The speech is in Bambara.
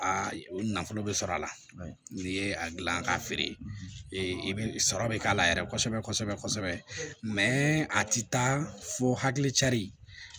A nafolo bɛ sɔrɔ a la n'i ye a dilan k'a feere i bɛ sɔrɔ bɛ k'a la yɛrɛ kosɛbɛ kosɛbɛ mɛ a tɛ taa fo hakili cari